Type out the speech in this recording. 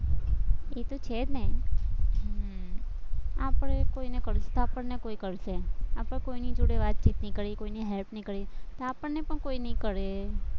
એ તો છે જ ને હમ આપણે કોઈને કરશું, આપણને કોઈ કરશે, આપણે કોઈની જોડે વાતચીત નઈ કરીએ, કોઈની help નઈ કરીએ, તો આપણને કોઈ ની કરે.